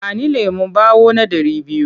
Ba ni lemon ɓawo na ɗari biyu!